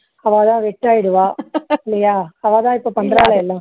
அவா தான் wet ஆயிடுவா இல்லையா அவா தான் பண்றாலே எல்லாம்